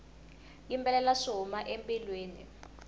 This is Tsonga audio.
yimbelela swi huma embilwini